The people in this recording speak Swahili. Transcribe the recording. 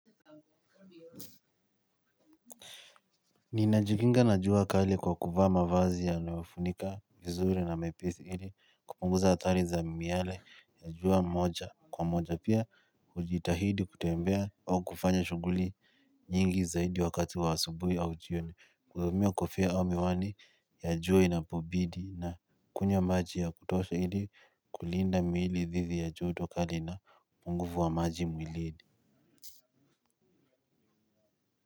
Ninajikinga na jua kali kwa kuvaa vazi yanayofunika vizuri na maipithi hili kupunguza atari za miale ya jua moja kwa moja pia ujitahidi kutembea au kufanya shuguli nyingi zaidi wakati wa asubui au jioni kuzumia kufia au miwani ya jua inapobidi na kunywa maji ya kutosha hili kulinda miili dhizi ya joto kali na upunguvu wa maji mwilini.